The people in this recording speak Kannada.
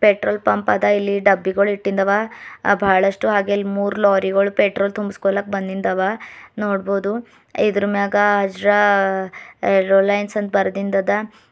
ಪೆಟ್ರೋಲ್ ಪಂಪ್ ಅದ ಇಲ್ಲಿ ಡಬ್ಬಿಗೋಳ ಇಟ್ಟಿಂದ ಅವ ಆ ಬಹಳಷ್ಟು ಹಾಗೆ ಮೂರು ಲಾರಿ ಗೋಳ ಪೆಟ್ರೋಲ್ ತುಂಬಸ್ಕೊಲಕ ಬಂದಿದ ಅವ ನೋಡ್ಬೋದು ಇದರ ಮ್ಯಾಗ ಅಜ್ರಾ ರೋಡ ಲೈನ್ಸ್ ಅಂತ ಬರೆದಿಂದ ಅದ.